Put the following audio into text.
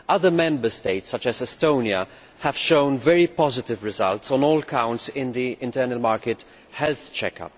Other Member States, such as Estonia, have shown very positive results on all counts in the internal market health check'.